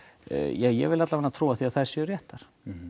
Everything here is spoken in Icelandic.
ég vil trúa því að þær séu réttar